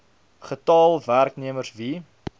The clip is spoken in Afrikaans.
getal werknemers wie